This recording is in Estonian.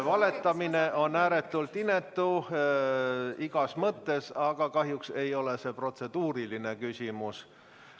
Valetamine on ääretult inetu igas mõttes, aga kahjuks ei ole see protseduuriline küsimus.